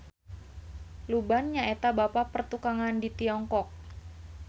Luban nyaeta Bapa Pertukangan di Tiongkok.